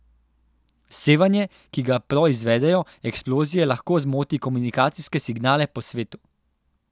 Sevanje, ki ga proizvedejo eksplozije lahko zmoti komunikacijske signale po svetu.